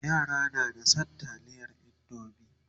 yara na da San taliyar indomie